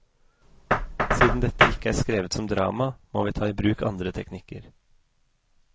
Siden dette ikke er skrevet som drama, må vi ta i bruk andre teknikker.